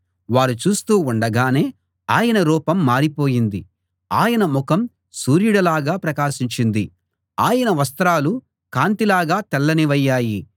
వారు చూస్తూ ఉండగానే ఆయన రూపం మారిపోయింది ఆయన ముఖం సూర్యుడిలాగా ప్రకాశించింది ఆయన వస్త్రాలు కాంతి లాగా తెల్లనివయ్యాయి